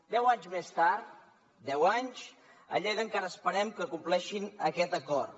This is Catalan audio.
deu anys més tard deu anys a lleida encara esperem que compleixin aquest acord